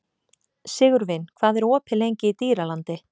Sigurvin, hvað er opið lengi í Dýralandi?